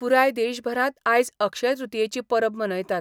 पुराय देशभरात आयज अक्षयतृतीयेची परब मनयतात.